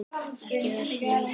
Ekki þessa hnýsni.